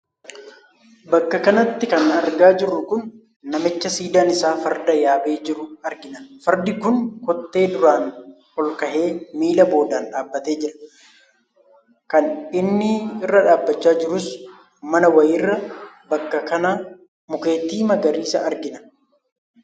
Bakka kanatti kan argaa jirru kun namicha siidaan isaa farda yaabee jiruu argina. Fardi kunis kottee duraan olkahee, miilla boodaan dhaabbatee jira. Kan inni irra dhaabbachaa jirus mana wayiirra bakka kana mukeetii magariisa argina.